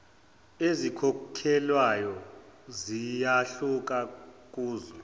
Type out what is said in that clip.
ezikhokhelwayo ziyahluka kuzwe